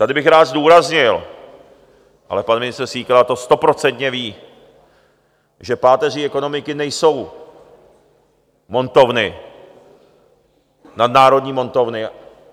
Tady bych rád zdůraznil, ale pan ministr Síkela to stoprocentně ví, že páteří ekonomiky nejsou montovny, nadnárodní montovny.